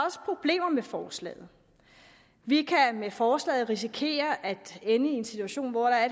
også problemer med forslaget vi kan med forslaget risikere at ende i en situation hvor der er